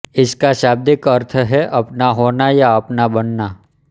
इसका शाब्दिक अर्थ है अपना होना या अपना बनना